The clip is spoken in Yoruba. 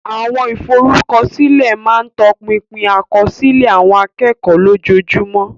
Àwọn ìforúkọsílẹ̀ máa ń tọpinpin àkọsílẹ̀ àwọn akẹ́kọ̀ọ́ lójoojúmọ́.